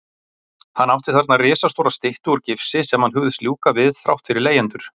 Hann átti þarna risastóra styttu úr gifsi sem hann hugðist ljúka við þrátt fyrir leigjendur.